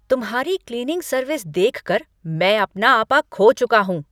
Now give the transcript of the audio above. तुम्हारी cleaning service देखकर मैं अपना आपा खो चुका हूँ।